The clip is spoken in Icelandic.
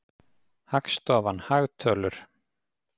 Hagstofan- hagtölur.